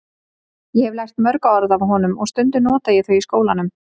Ég hef lært mörg orð af honum og stundum nota ég þau í skólanum.